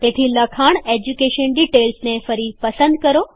તેથી લખાણ education details ને ફરી પસંદ કરો